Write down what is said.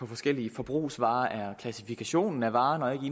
forskellige forbrugsvarers vedkommende er klassifikationen af varen og ikke